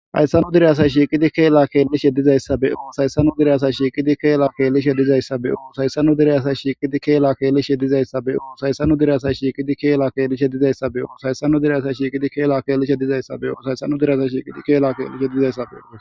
hayssanu direyasa shiiqidi keela keellishe dizayssabeyo sayssanu diriyasa shiiqidi keela keellishe dizayssabeyo sayssanu dire asa shiiqidi keela keelishe dizayssabeyo sayssanu direyasa shiiqidi keela keelishe dizayssabeyo sayssanu direyasa shiiqidi keela keelishe dizayssabeyo shaysanu diryasa shiiqidi keela keelishe dizayssabeo